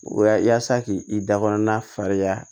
Wa yasa k'i i da kɔnɔna falenya